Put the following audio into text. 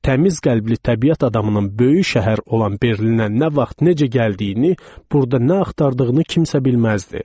Bu təmiz qəlbli təbiət adamının böyük şəhər olan Berlinə nə vaxt, necə gəldiyini, burda nə axtardığını kimsə bilməzdi.